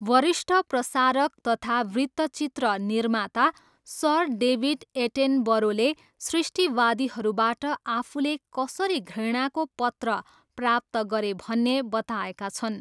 वरिष्ठ प्रसारक तथा वृत्तचित्र निर्माता सर डेभिड एटेनबरोले सृष्टिवादीहरूबाट आफूले कसरी घृणाको पत्र प्राप्त गरे भन्ने बताएका छन्।